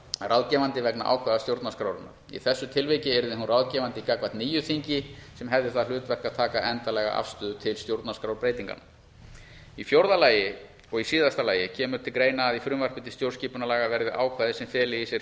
ráðgefandi vegna ákvæða stjórnarskrárinnar í þessu tilviki yrði hún ráðgefandi gagnvart nýju þingi sem hefði það hlutverk að taka endanlega afstöðu til stjórnarskrárbreytinganna í fjórða og síðasta lagi kemur til greina að í frumvarpi til stjórnarskipunarlaga verði ákvæði sem feli í sér